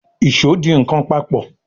Ìṣó dì nkán papọ̀.